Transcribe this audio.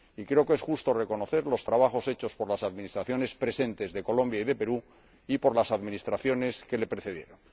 Creo que es justo reconocer los trabajos hechos por las administraciones presentes de Colombia y el Perú y por las administraciones que las precedieron.